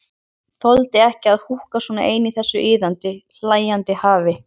Þoldi ekki að húka svona ein í þessu iðandi, hlæjandi hafi.